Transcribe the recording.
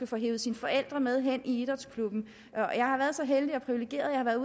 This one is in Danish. får hevet sine forældre med hen i idrætsklubben jeg har været så heldig og privilegeret